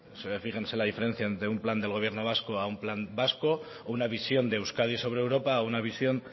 fíjense la diferencia entre un plan del gobierno vasco a un plan vasco o una visión de euskadi sobre europa o una visión